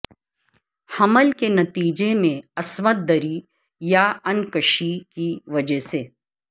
حمل کے نتیجے میں عصمت دری یا انکشی کی وجہ سے